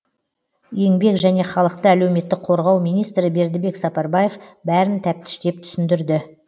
еңбек және халықты әлеуметтік қорғау министрі бердібек сапарбаев бәрін тәптіштеп түсіндірді